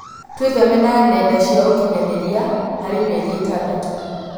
Twitheme na nenda cia ũkinyanĩria harĩ mĩeri ĩtandatũ